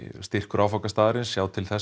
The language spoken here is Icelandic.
styrkur áfangastaðarins sjá til þess að